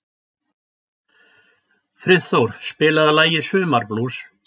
Friðþór, spilaðu lagið „Sumarblús“.